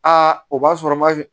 Aa o b'a sɔrɔ ma kɛ